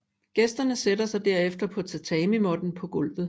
Gæsterne sætter sig derefter på tatamimåtten på gulvet